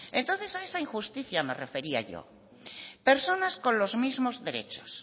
entonces a esa injusticia me refería yo personas con los mismos derechos